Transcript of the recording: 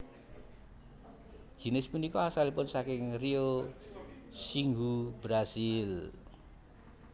Jinis punika asalipun saking Rio Xingu Brazil